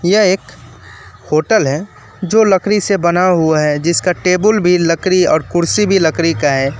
यह एक होटल है जो लकड़ी से बना हुआ है जिसका टेबुल भी लकड़ी और कुर्सी भी लकड़ी का है।